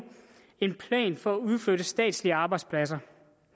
en plan for at udflytte statslige arbejdspladser